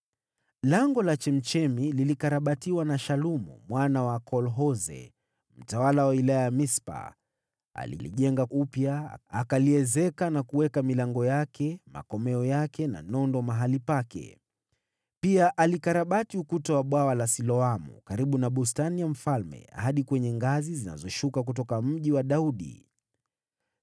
Lango la Chemchemi lilikarabatiwa na Shalumu mwana wa Kolhoze, mtawala wa wilaya ya Mispa. Alilijenga upya, akaliezeka na kuweka milango yake, na makomeo na nondo mahali pake. Pia alikarabati ukuta wa Bwawa la Siloamu karibu na Bustani ya Mfalme, hadi kwenye ngazi zinazoshuka kutoka Mji wa Daudi.